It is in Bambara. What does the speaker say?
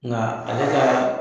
Nka ale ka